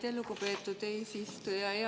Aitäh, lugupeetud eesistuja!